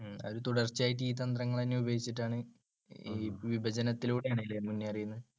തുടർച്ചയായിട്ട് ഈ തന്ത്രങ്ങൾ തന്നെ ഉപയോഗിച്ചിട്ടാണ്, വിഭജനത്തിലൂടെയാണ് അല്ലെ മുന്നേറിയത്?